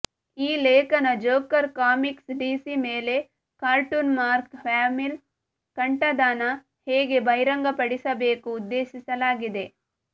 ಈ ಲೇಖನ joker comics DC ಮೇಲೆ ಕಾರ್ಟೂನ್ ಮಾರ್ಕ್ ಹ್ಯಾಮಿಲ್ ಕಂಠದಾನ ಹೇಗೆ ಬಹಿರಂಗಪಡಿಸಬೇಕು ಉದ್ದೇಶಿಸಲಾಗಿದೆ